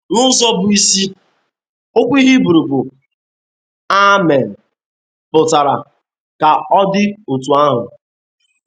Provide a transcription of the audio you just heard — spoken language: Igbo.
N’ụzọ bụ́ isi, okwu Hibru bụ́ ʼa·menʹ pụtara “ ka ọ dị otú ahụ. ”